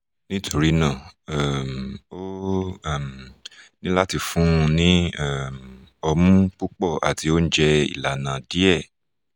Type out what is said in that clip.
nítorí náà um o um ní láti fún un ní um ọmú púpọ̀ àti oúnjẹ ìlànà díẹ̀